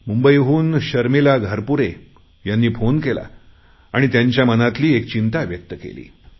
मुंबईहून शर्मिला घारपुरे यांनी फोन केला आणि त्यांच्या मनातली चिंता व्यक्त केली